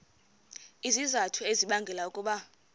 izizathu ezibangela ukuba